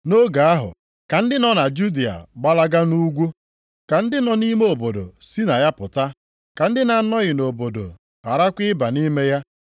Nʼoge ahụ ka ndị nọ na Judịa gbalaga nʼugwu, ka ndị nọ nʼime obodo si na ya pụta, ka ndị na-anọghị nʼobodo gharakwa ịba nʼime ya.